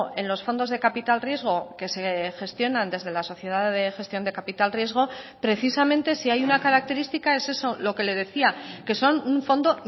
en los fondos de capital riesgo que se gestionan desde la sociedad de gestión de capital riesgo precisamente si hay una característica es eso lo que le decía que son un fondo